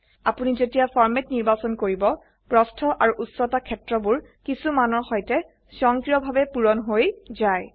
আপোনি যেতিয়া ফৰমেট নিৰ্বাচন কৰিব প্ৰস্থ আৰু উচ্চতা ক্ষেত্ৰবোৰ কিছু মানৰ সৈতে স্বয়ংক্ৰয়ভাবে পূৰণ হৈ যায়